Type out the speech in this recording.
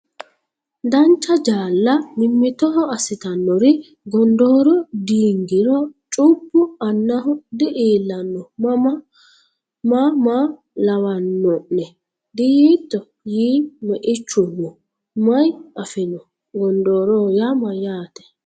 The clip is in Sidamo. Dancha jaalla mimmitoho assitannori gondooro diingiro cubbu annaho di”iillanno maa maa lawanno’ne? diyiitto?” yii, Meichuno, “May afino? Gondooroho yaa mayyaate?